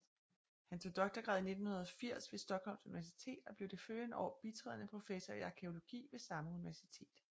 Han tog doktorgrad i 1980 ved Stockholms universitet og blev det følgende år bitrædende professor i arkæologi ved samme universitet